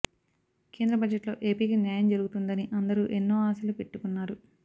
కేంద్ర బడ్జెట్లో ఏపికి న్యాయం జరుగుతుందని అందరూ ఎన్నో ఆశలు పెట్టుకున్నారు